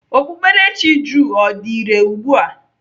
Okpukperechi jụụ ọ ka dị irè ugbu a?